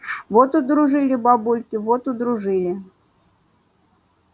вот удружили бабульки вот удружили